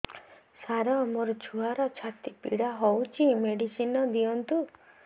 ସାର ମୋର ଛୁଆର ଛାତି ପୀଡା ହଉଚି ମେଡିସିନ ଦିଅନ୍ତୁ